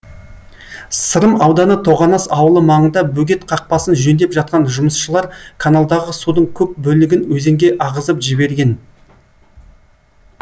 сырым ауданы тоғанас ауылы маңында бөгет қақпасын жөндеп жатқан жұмысшылар каналдағы судың көп бөлігін өзенге ағызып жіберген